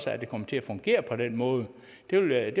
at det kommer til at fungere på den måde det vil jeg